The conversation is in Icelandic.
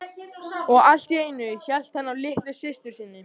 Og allt í einu hélt hann á litlu systur sinni.